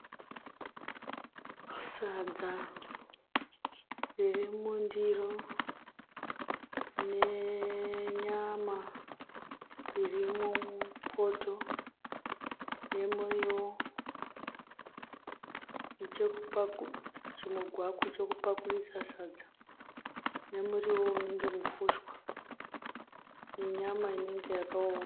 Sadza ririmundiro nenyama irimo mupoto nemurivo, chimugwaku chekupakurisa sadza nemurivo unenge mufusha nenyama inenge yakaoma.